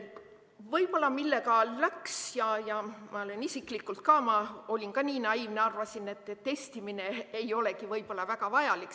Võib-olla ainult see – ma isiklikult ka olin naiivne, arvasin, et testimine ei olegi võib-olla väga vajalik.